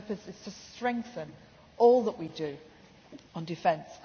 NATO. Our purpose is to strengthen all that we do on defence.